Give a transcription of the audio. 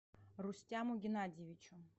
рустяму геннадьевичу